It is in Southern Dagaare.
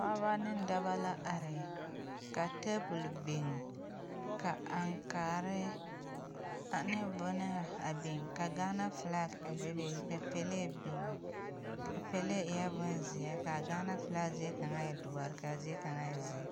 Pɔɔbɔ ne dɔbɔ la are ka tabol biŋ ka aŋkaare ane bɔnaa a biŋ ka gaana flak a bebe ka pɛlee biŋ a pulee eɛɛ bonzeɛ ka gaana flak zie kaŋa e doɔre kaa zie kaŋa e zeɛ.